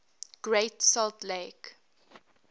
great salt lake